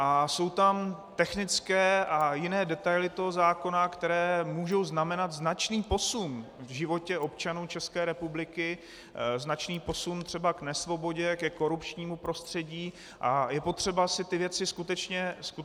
A jsou tam technické a jiné detaily toho zákona, které mohou znamenat značný posun v životě občanů České republiky, značný posun třeba k nesvobodě, ke korupčnímu prostředí, a je potřeba si ty věci skutečně ujasnit.